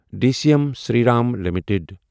D C M Shri Ram limited